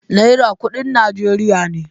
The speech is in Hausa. Naira kudin Najeriya ne.